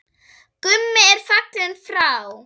Gummi er fallinn frá.